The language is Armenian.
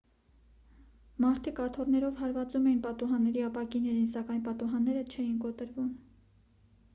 մարդիկ աթոռներով հարվածում էին պատուհանների ապակիներին սակայն պատուհանները չէին կոտրվում